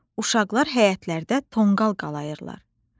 Uşaqlar həyətlərdə tonqal qalayırlar.